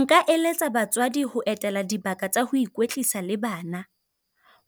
Nka eletsa batswadi ho etela dibaka tsa ho ikwetlisa le bana.